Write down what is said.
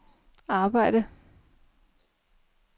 arbejde